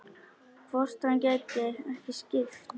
Hvort hann gæti ekki skipt?